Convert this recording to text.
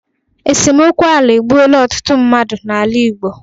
Esemokwu ala egbuoola ọtụtụ mmadụ n'ala Igbo.